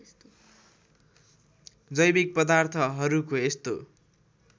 जैविक पदार्थहरूको यस्तो